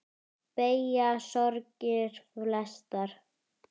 Beygja sorgir flesta.